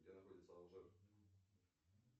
где находится алжир